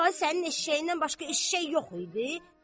Tai sənin eşşəyindən başqa eşşək yox idi.